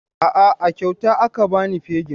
A'a, a kyauta aka ba ni fegin.